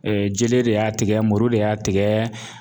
jele de y'a tigɛ, muru de y'a tigɛ